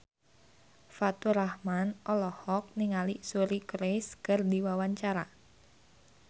Faturrahman olohok ningali Suri Cruise keur diwawancara